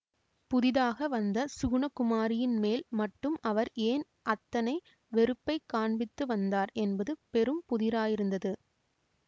புதிதாக வந்த சுகுணகுமாரியின் மேல் மட்டும் அவர் ஏன் அத்தனை வெறுப்பை காண்பித்து வந்தார் என்பது பெரும் புதிராயிருந்தது